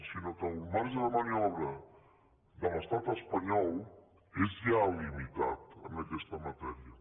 sinó que el marge de maniobra de l’estat espanyol és ja limitat en aquesta matèria